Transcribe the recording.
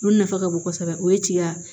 Olu nafa ka bon kosɛbɛ o ye tiga